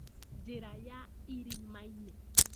Njĩra ya irima-inĩ